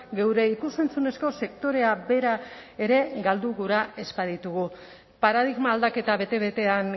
geure ikus entzunezko sektorea bera ere galdu gura ez baditugu paradigma aldaketa bete betean